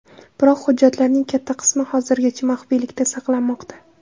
Biroq hujjatlarning katta qismi hozirgacha maxfiylikda saqlanmoqda.